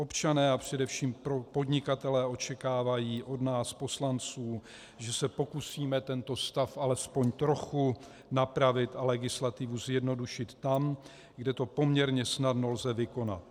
Občané a především podnikatelé očekávají od nás poslanců, že se pokusíme tento stav alespoň trochu napravit a legislativu zjednodušit tam, kde to poměrně snadno lze vykonat.